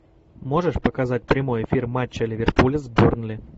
можешь показать прямой эфир матча ливерпуля с бернли